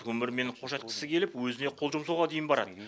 өмірмен қош айтысқысы келіп өзіне қол жұмсауға дейін барады